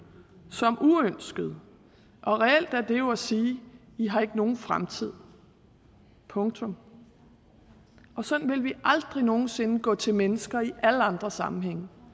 som uønskede reelt er det jo at sige i har ikke nogen fremtid punktum sådan ville vi aldrig nogen sinde gå til mennesker i alle andre sammenhænge